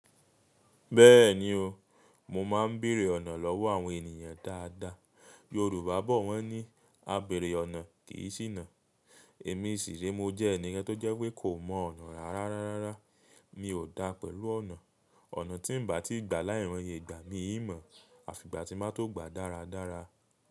Bẹ́ẹ̀ni o, mo máa ń bèrè ọ̀nà lọ́wọ́ àwọn ènìyàn dáadáa. Yorùbá bọ̀ wọ́n ní "A bèrè ọ̀nà kì í ṣìnà". Èmi sì re mo jẹ́ ènì kàn tó jẹ́ pé kò mọ ọ̀nà rara rárá. Mi ò dá pẹ̀lú ọ̀nà. Ọ̀nà tí ń ba tí gbà láì moye igbà, mi i mọ̀. Àfìgbà tí nba tó gba dáradára.